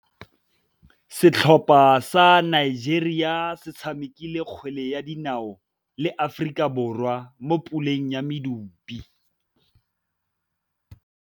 Setlhopha sa Nigeria se tshamekile kgwele ya dinaô le Aforika Borwa mo puleng ya medupe.